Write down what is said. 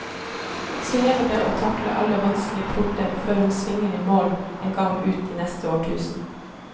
Så gjelder det å takle alle vanskelige porter før hun svinger i mål en gang ut i neste årtusen.